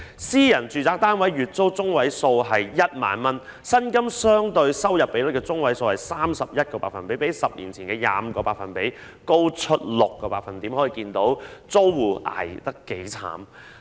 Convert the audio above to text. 私人住宅單位的月租中位數為 10,000 元，而租金相對收入比率的中位數為 31%， 較10年前的 25% 高出 6%， 可見租戶捱得有多苦。